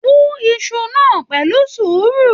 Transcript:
Wú Isu náà pẹ̀lú sùúrù!